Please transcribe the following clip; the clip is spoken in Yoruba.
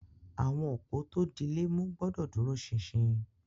Awọn opó tó dílẹ̀ mú gbọ̀dọ̀ dúró sínsín.